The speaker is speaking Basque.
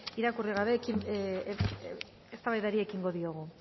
irakurri gabe eztabaidari ekingo diogu